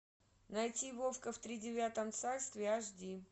найти вовка в тридевятом царстве аш ди